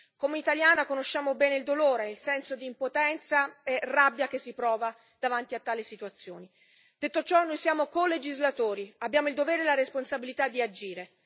Come italiani conosciamo bene il dolore e il senso di impotenza e rabbia che si prova davanti a tali situazioni. Detto ciò, noi siamo colegislatori, abbiamo il dovere e la responsabilità di agire.